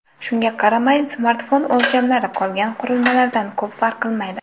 Shunga qaramay, smartfon o‘lchamlari qolgan qurilmalardan ko‘p farq qilmaydi.